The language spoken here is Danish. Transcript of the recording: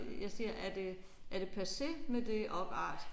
Øh jeg siger er det er det passé med det opart?